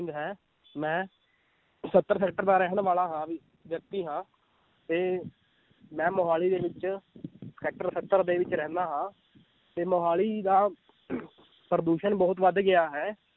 ਹੈ ਮੈਂ ਸੱਤਰ sector ਦਾ ਰਹਿਣ ਵਾਲਾ ਹਾਂ ਵਿ~ ਵਿੳਕਤੀ ਹਾਂ ਤੇ ਮੈਂ ਮੁਹਾਲੀ ਦੇ ਵਿੱਚ sector ਸੱਤਰ ਦੇ ਵਿੱਚ ਰਹਿੰਦਾ ਹਾਂ ਤੇ ਮੁਹਾਲੀ ਦਾ ਪ੍ਰਦੂਸ਼ਣ ਬਹੁਤ ਵੱਧ ਗਿਆ ਹੈ,